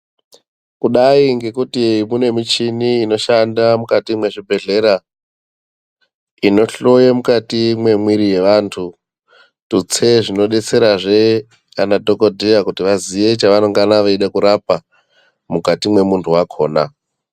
Kudai ngekuti kune michini inoshanda mukati mwezvibhedhlera inodetsera madhokodheya kuti vaziye chevanenge veida kurapa